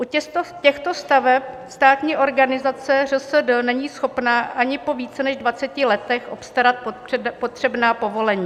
U těchto staveb státní organizace ŘSD není schopna ani po více než 20 letech obstarat potřebná povolení.